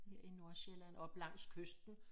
Her i Nordsjælland op langs kysten